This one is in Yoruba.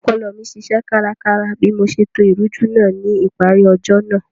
Ọpọlọ mi ṣiṣẹ́ kárakára bí mo ṣe to ìrújú náà ní ìparí ọjọ́ náà